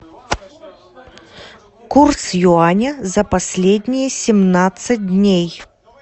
курс юаня за последние семнадцать дней